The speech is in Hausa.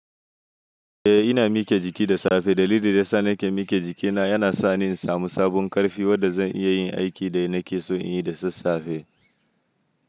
Eh ina miƙe jiki da safe. Dalili da ya sa nake miƙe jikina yana sa ni in samu sabon ƙarfi wanda zan iya yin aikin da nake so in yi da sassafe.